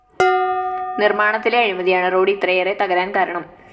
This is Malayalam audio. നിര്‍മാണത്തിലെ അഴിമതിയാണ് റോഡ്‌ ഇത്രയേറെ തകരാന്‍ കാരണം